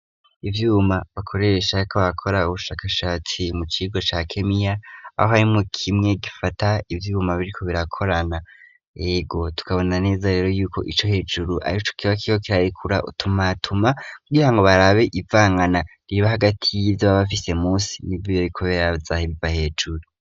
Ivyuma bakoresha bariko barakora ubushakashatsi mu kigo ca kemiya aho arimwo kimwe gifata ivyuma biriko birakorana hego tukabona neza rero yuko ico hejuru arico kiba kiho kirarekura utumatuma kugirango barabe ivangana riba hagati yivyo ba bafise munsi n'ibyiyo kubera baza bibahembera hejuru.